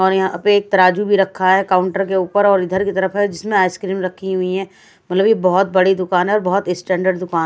और यहां पे एक तराजू भी रखा है काउंटर के ऊपर और इधर की तरफ है जिसमें आइसक्रीम रखी हुई हैं मतलब ये बहुत बड़ी दुकान है और बहुत स्टैंडर्ड दुका--